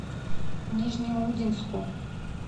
нижнеудинску